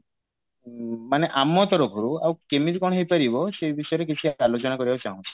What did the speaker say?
ଉଁ ମାନେ ଆମ ତରଫରୁ ଆଉ କେମିତି କଣ ହେଇପାରିବ ସେଇ ବିଷୟରେ କିଛି ଆଲୋଚନା କରିବାକୁ ଚାହୁଁଛି